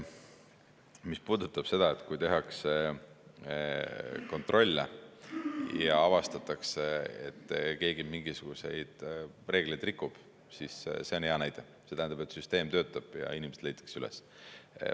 Mis puudutab seda, et kui tehakse kontrolle ja avastatakse, et keegi mingisuguseid reegleid rikub, siis see on hea näide: see tähendab, et süsteem töötab ja inimesed leitakse üles.